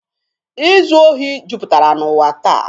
Izu ohi juputara n'ụwa taa.